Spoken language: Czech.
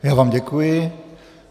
Já vám děkuji.